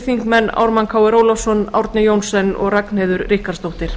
þingmenn ármann krónu ólafsson árni johnsen og ragnheiður ríkharðsdóttir